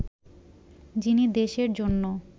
যিনি দেশের জন্য